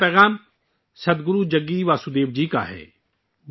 یہ پہلا پیغام سد گرو جگی واسودیو جی کا ہے